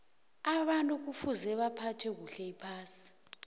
abantu kufuza baphathe kuhle iphasi